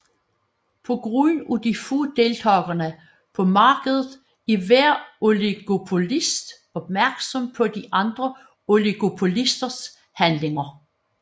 På grund af de få deltagere på markedet er hver oligopolist opmærksom på de andre oligopolisters handlinger